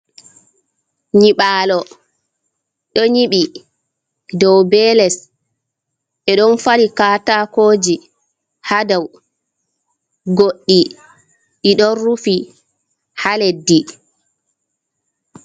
Nyiɓalo do nyibi dow be les e don fali katakoji ha dou goɗdi i ɗon rufi ha leddi.